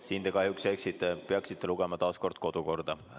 Siin te kahjuks eksite, peaksite lugema taas kord kodukorda.